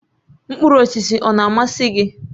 Mkpụrụ osisi ọ na-amasị gị?